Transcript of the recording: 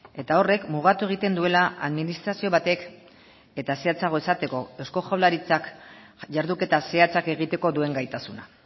eta horrek mugatu egiten duela administrazio batek eta zehatzago esateko eusko jaurlaritzak jarduketa zehatzak egiteko duen gaitasuna